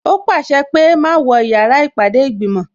Ó pàṣẹ pé "má wọ yàrá ìpàdé ìgbìmò"